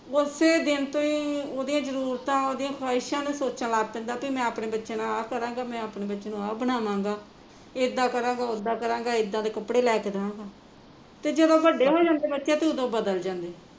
ਓਸੇ ਦਿਨ ਤੋਂ ਹੀਂ ਉਹਦੀਆ ਜਰੂਰਤਾਂ ਉਹਦੀਆ ਖਵਾਇਸ਼ਾਂ ਨੂੰ ਸੋਚਣ ਲੱਗ ਪੈਂਦਾ ਕਿ ਮੈਂ ਅਪਣੇ ਬੱਚਿਆ ਨਾਲ ਆਹ ਕਰਾਂਗਾ ਅਪਣੇ ਬੱਚੇ ਨੂ ਆਹ ਬਣਾਵਾਗਾ ਇੱਦਾਂ ਕਰਾਂਗਾ ਓਦਾ ਕਰਾਂਗਾ ਇੱਦਾਂ ਦੇ ਕੱਪੜੇ ਲੈ ਕੇ ਦਵਾਂਗਾ ਤੇ ਜਦੋਂ ਵੱਡੇ ਹੋ ਜਾਂਦੇ ਬੱਚੇ ਉਦੋਂ ਬਦਲ ਜਾਂਦੇ